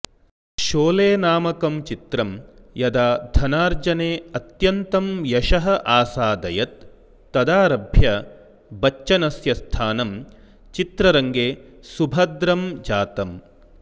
शोले नामकं चित्रं यदा धनार्जने अत्यन्तं यशः आसादयत् तदारभ्य बच्चनस्य स्थानं चित्ररङ्गे सुभद्रं जातम्